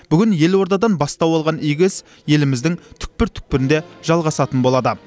бүгін елордадан бастау алған игі іс еліміздің түкпір түкпірінде жалғасатын болады